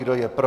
Kdo je pro?